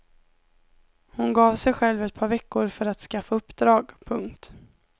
Hon gav sig själv ett par veckor för att skaffa uppdrag. punkt